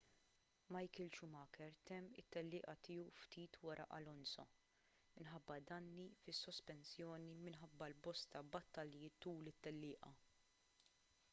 michael schumacher temm it-tellieqa tiegħu ftit wara alonso minħabba danni fis-sospensjoni minħabba l-bosta battalji tul it-tellieqa